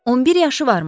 11 yaşı varmış.